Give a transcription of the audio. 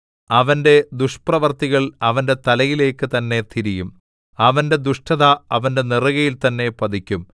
അവന്റെ ദുഷ്പ്രവർത്തികൾ അവന്റെ തലയിലേക്കു തന്നെ തിരിയും അവന്റെ ദുഷ്ടത അവന്റെ നെറുകയിൽ തന്നെ പതിക്കും